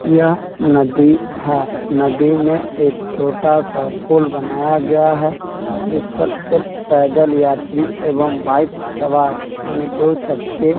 यह नदी है नदी में एक छोटा-सा पुल बनाया गया है जिस पर सिर्फ पैदल यात्री एवं बाइक सवार यानि दो चक्के --